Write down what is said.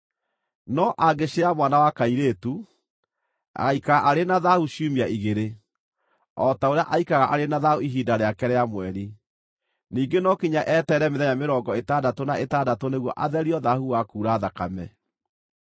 No angĩciara mwana wa kairĩtu, agaaikara arĩ na thaahu ciumia igĩrĩ, o ta ũrĩa aikaraga arĩ na thaahu ihinda rĩake rĩa mweri. Ningĩ no nginya eterere mĩthenya mĩrongo ĩtandatũ na ĩtandatũ nĩguo atherio thaahu wa kuura thakame.